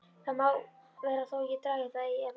Það má vera þó ég dragi það í efa.